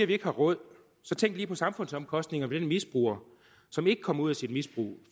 vi ikke har råd så tænk lige på samfundsomkostningerne ved den misbruger som ikke kommer ud af sit misbrug